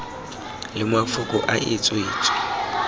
le mafoko a e tswetswe